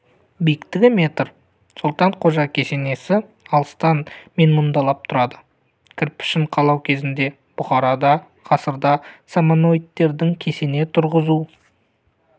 биіктігі метр солтан қожа кесенесі алыстан менмұндалап тұрады кірпішін қалау кезінде бұхарада ғасырда самонидтердің кесене тұрғызу